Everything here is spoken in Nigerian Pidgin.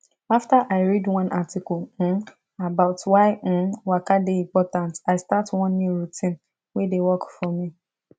after i read one article um about why um waka dey important i start one new routine wey dey work for me